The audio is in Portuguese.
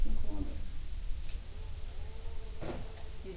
Cinco mulher.